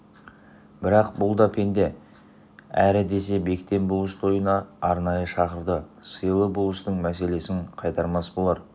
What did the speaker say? бірақ бұл да пенде әрі десе бектен болыс тойына арнайы шақырды сыйлы болыстың меселін қайтармас болар